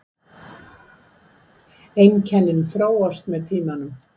Einkennin þróast með tímanum.